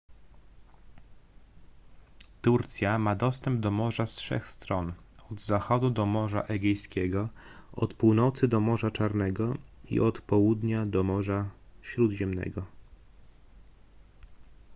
turcja ma dostęp do morza z trzech stron od zachodu do morza egejskiego od północy do morza czarnego i od południa do morza śródziemnego